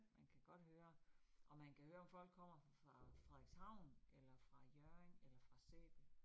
Man kan godt høre, og man kan høre, om folk kommer fra Frederikshavn eller fra Hjørring eller fra Sæby